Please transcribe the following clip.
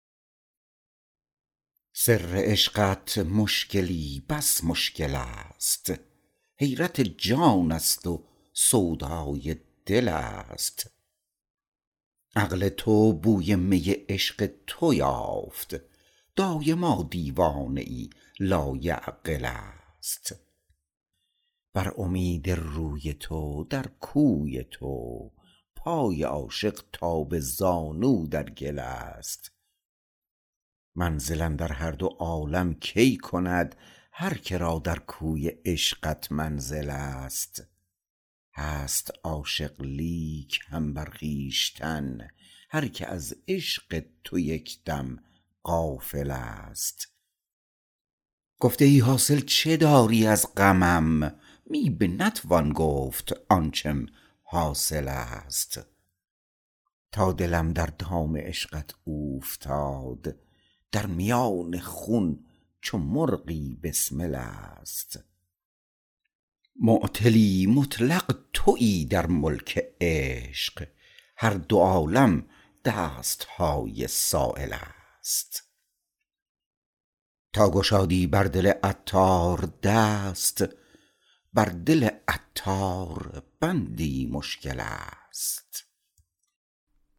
سر عشقت مشکلی بس مشکل است حیرت جان است و سودای دل است عقل تا بوی می عشق تو یافت دایما دیوانه ای لایعقل است بر امید روی تو در کوی تو پای عاشق تا به زانو در گل است منزل اندر هر دو عالم کی کند هر که را در کوی عشقت منزل است هست عاشق لیک هم بر خویشتن هر که از عشق تو یک دم غافل است گفته ای حاصل چه داری از غمم می به نتوان گفت آنچم حاصل است تا دلم در دام عشقت اوفتاد در میان خون چو مرغی بسمل است معطلی مطلق تویی در ملک عشق هر دو عالم دست های سایل است تا گشادی بر دل عطار دست بر دل عطار بندی مشکل است